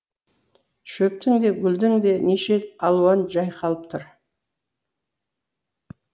шөптің де гүлдің де неше алуаны жайқалып тұр